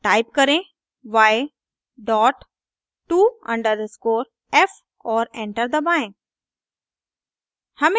type करें y dot to_f और enter दबाएं